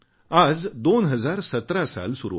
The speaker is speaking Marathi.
आज 2017 साल चालू आहे